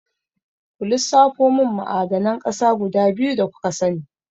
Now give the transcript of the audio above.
Ku lissafo mun ma'adanan ƙasa guda biyu da kuka sani?